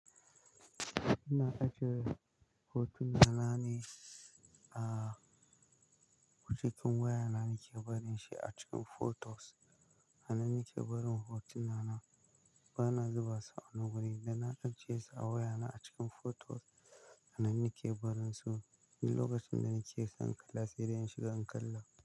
Ina ajiye hotunan na ne a wajen waya na nake barin shi a cikin photos. A nan nake barin hotunan na, bana zuba su a wurin da na ajiye su a waya na a cikin photos. A nan nake barin su, lokacin da nake son kalla, sai dai in shiga in kalla.